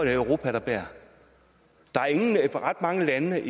europa der bærer der er ikke ret mange lande